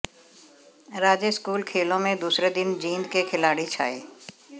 राज्य स्कूल खेलों में दूसरे दिन जींद के खिलाड़ी छाये